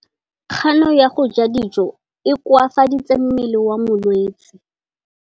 Kganô ya go ja dijo e koafaditse mmele wa molwetse.